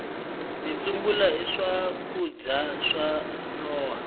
mitsumbula i swakudya swa nhova